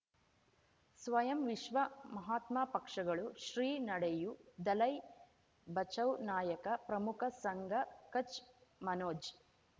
ಸ್ವಯಂ ವಿಶ್ವ ಮಹಾತ್ಮ ಪಕ್ಷಗಳು ಶ್ರೀ ನಡೆಯೂ ದಲೈ ಬಚೌ ನಾಯಕ ಪ್ರಮುಖ ಸಂಘ ಕಚ್ ಮನೋಜ್